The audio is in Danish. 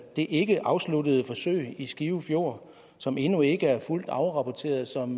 det ikkeafsluttede forsøg i skive fjord som endnu ikke er fuldt afrapporteret og som